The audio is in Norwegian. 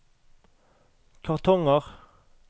kartonger